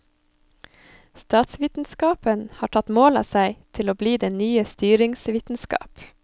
Statsvitenskapen har tatt mål av seg til å bli den nye styringsvitenskap.